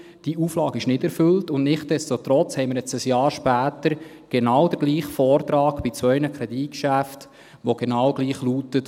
Diese Auflage ist nicht erfüllt, und nichtsdestotrotz haben wir jetzt, ein Jahr später, genau den gleichen Vortrag bei zwei Kreditgeschäften, der genau gleich lautet.